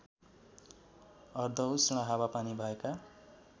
अर्धउष्ण हावापानी भएका